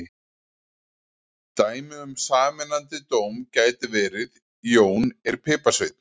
Dæmi um sameinandi dóm gæti verið: Jón er piparsveinn.